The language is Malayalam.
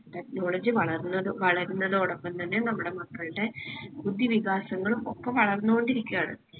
technology വളർന്നത് വളരുന്നതോടൊപ്പം തന്നെ നമ്മടെ മക്കൾടെ ബുദ്ധിവികാസങ്ങളും ഒക്കെ വളർന്നോണ്ട് ഇരിക്കാണ്‌